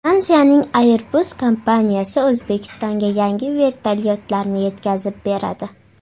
Fransiyaning Airbus kompaniyasi O‘zbekistonga yangi vertolyotlarni yetkazib beradi.